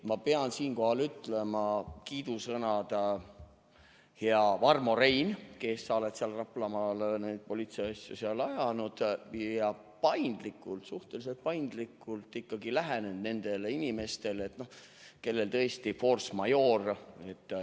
Ma pean siinkohal ütlema kiidusõnad sulle, hea Varmo Rein, kes sa oled seal Raplamaal politseiasju ajanud ja paindlikult, suhteliselt paindlikult ikkagi lähenenud nendele inimestele, kellel on tõesti force majeure.